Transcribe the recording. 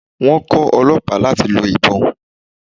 Wón kó Ọlọ́pàá láti lọ ìbon.